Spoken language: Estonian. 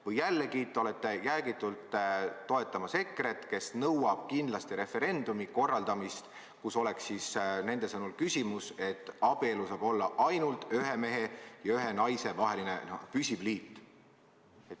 Või jällegi olete jäägitult toetamas EKRE-t, kes nõuab kindlasti referendumi korraldamist, kus oleks nende sõnul küsimus, kas abielu saab olla ainult ühe mehe ja ühe naise vaheline püsiv liit?